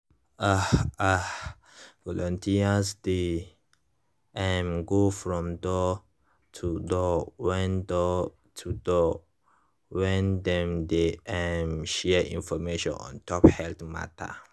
ah ah volunteers dey um go from door-to-door when door-to-door when dem dey um share information ontop health matter